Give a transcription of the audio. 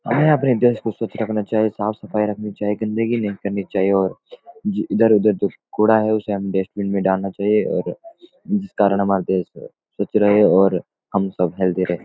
हमें अपने देश को स्वाच रखना चाहिए साफ़-सफ़ाई रखनी चाहिए गंदगी नहीं करनी चाहिए और इधर-उधर जो कूड़ा है उसे हम डस्टबीन में डालना चाहिए और जिस कारण हमारा देश स्वाच रहे और हम सब हेल्थी रहें।